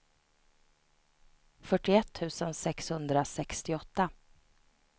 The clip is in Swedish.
fyrtioett tusen sexhundrasextioåtta